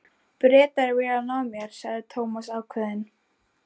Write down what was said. Bretar vilja ná mér sagði Thomas ákveðinn.